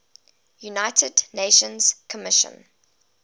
united nations commission